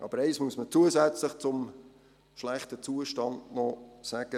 Aber eines muss man zusätzlich zum schlechten Zustand noch sagen: